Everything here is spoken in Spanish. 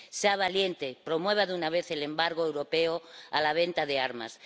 Sea valiente, promueva de una vez el embargo europeo a la venta de armas.